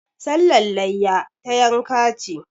Sallar layya, ta yanka ce.